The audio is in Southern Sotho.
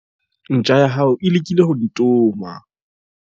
Ntja ya hao e lekile ho ntoma.